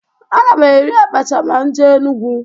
Aga m eri abacha ma m jee Enugwu.